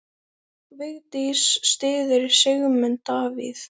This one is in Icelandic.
Vigdís styður Sigmund Davíð.